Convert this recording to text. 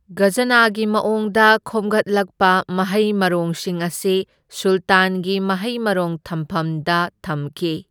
ꯘꯖꯅꯥꯒꯤ ꯃꯑꯣꯡꯗ ꯈꯣꯝꯒꯠꯂꯛꯄ ꯃꯍꯩ ꯃꯔꯣꯡꯁꯤꯡ ꯑꯗꯨ ꯁꯨꯂꯇꯥꯟꯒꯤ ꯃꯍꯩ ꯃꯔꯣꯡ ꯊꯝꯐꯝꯗ ꯊꯝꯈꯤ꯫